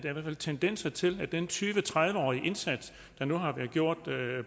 tendenser til at den tyve til tredive årige indsats der nu har været gjort